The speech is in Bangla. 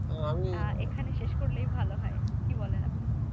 আহ এইখানে শেষ করলেই ভালো হয়। কি বলেন আপনি?